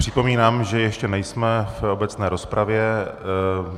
Připomínám, že ještě nejsme ve všeobecné rozpravě.